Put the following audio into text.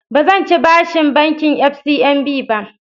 Ba zan ci bashin bankin FCMB ba